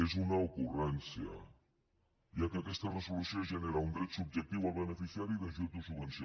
és una ocurrència ja que aquesta resolució genera un dret subjectiu al beneficiari d’ajut o subvenció